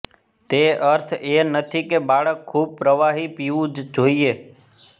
તે અર્થ એ નથી કે બાળક ખૂબ પ્રવાહી પીવું જ જોઇએ